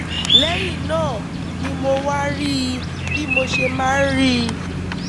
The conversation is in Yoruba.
lẹ́yìn náà ni mo wá rí i bí mo ṣe máa ń rí i